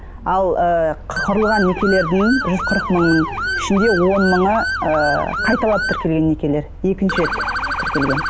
ал ыыы құрылған некелердің жүз қырық мыңның ішіндегі он мыңы ыыы қайталап тіркелген некелер екінші рет тіркелген